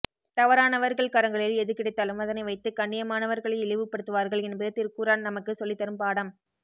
தவறானவர்கள் கரங்களில் எது கிடைத்தாலும் அதனை வைத்து கண்ணியமானவர்களை இழிவுபடுத்துவார்கள் என்பது திருக்குர்ஆன் நமக்கு சொல்லித் தரும் பாடம்